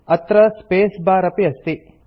अत्र space bar अपि अस्ति